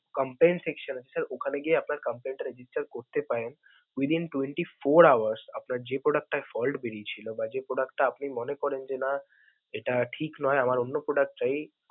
complaint এ page ওখানে গিয়ে আপনার complaint টা register করতে পারেন. within twenty four hours আপনার যে product টার fault বেড়িয়েছিল বা যে product টা আপনি মনে করেন যে না এটা ঠিক নয়, আমার অন্য product চাই.